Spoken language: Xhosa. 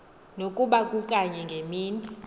nokuba kukanye ngemini